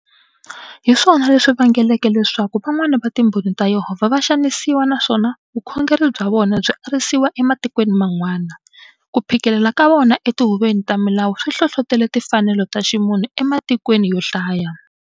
Hiswona leswi vangeleke leswaku, van'wana va Timbhoni ta Yehovha va xanisiwa naswona vukhongeri byavona byi arisiwa ematikweni man'wana. Kuphikelela ka vona e tihuveni ta milawu swi hlohlotele timfanelo ta ximunhu ematikweni yohlaya.